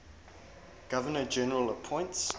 governor general appoints